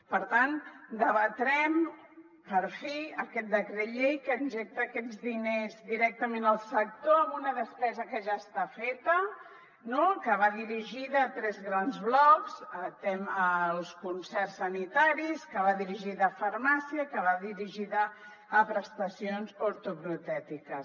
per tant debatrem per fi aquest decret llei que injecta aquests diners directament al sector amb una despesa que ja està feta no que va dirigida a tres grans blocs als concerts sanitaris que va dirigida a farmàcia que va dirigida a prestacions ortoprotètiques